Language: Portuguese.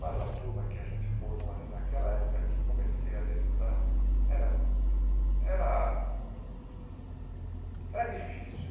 Mas a turma que a gente formou ali naquela época, que comecei ali a estudar, era era era difícil.